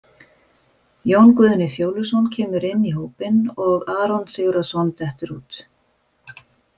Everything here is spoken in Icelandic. Jón Guðni Fjóluson kemur inn í hópinn og Aron Sigurðarson dettur út.